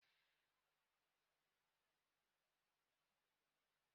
Anyị ji bọọdụ jide waya ahụ ụnyaahụ.